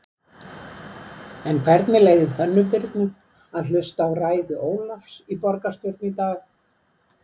En hvernig leið Hönnu Birnu að hlusta á ræðu Ólafs í borgarstjórn í dag?